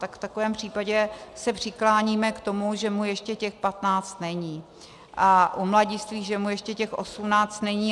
Tak v takovém případě se přikláníme k tomu, že mu ještě těch patnáct není, a u mladistvých, že mu ještě těch osmnáct není.